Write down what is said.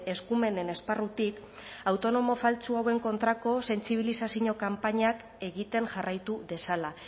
eskumenen esparrutik autonomo faltsu hauen kontrako sentsibilizazio kanpainak egiten jarraitu dezala